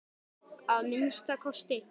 Að minnsta kosti.